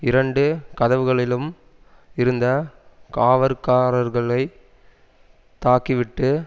இரண்டு கதவுகளிலும் இருந்த காவற்காரர்களைத் தாக்கிவிட்டு